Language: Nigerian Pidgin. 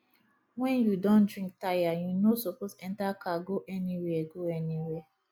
when you don drink tire you no suppose enter car go anywhere go anywhere